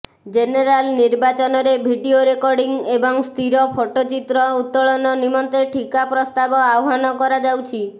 general ନିର୍ବାଚନରେ video recording ଏବଂ ସ୍ଥିର ଫୋଟୋଚିତ୍ର ଉତ୍ତୋଳନ ନିମନ୍ତେ ଠିକା ପ୍ରସ୍ତାବ ଆହ୍ବାନ କରାଯାଉଅଛି